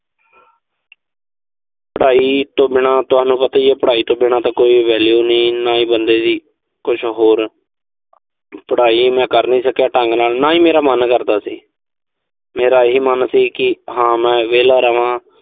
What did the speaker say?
ਪੜਾਈ ਤੋਂ ਬਿਨਾਂ। ਪੜਾਈ ਤੋਂ ਬਿਨਾਂ ਤਾਂ ਤੁਹਾਨੂੰ ਪਤਾ ਈ ਐ, ਕੋਈ value ਨੀਂ ਬੰਦੇ ਦੀ। ਕੁਸ਼ ਹੋਰ। ਪੜਾਈ ਮੈਂ ਕਰ ਨੀਂ ਸਕਿਆ ਢੰਗ ਨਾਲ, ਨਾ ਹੀ ਮੇਰਾ ਮਨ ਕਰਦਾ ਸੀ। ਮੇਰੀ ਇਹ ਮਨ ਸੀ ਕਿ ਹਾਂ ਮੈਂ ਵਿਹਲਾ ਰਵਾਂ।